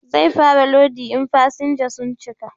Zai fara lodi in fasinja sun cika